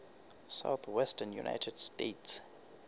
southwestern united states